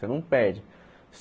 Você não perde.